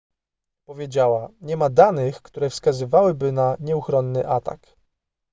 powiedziała nie ma danych które wskazywałyby na nieuchronny atak